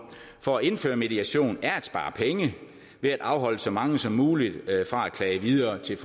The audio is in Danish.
for at indføre mediation er at spare penge ved at afholde så mange som muligt fra at klage videre til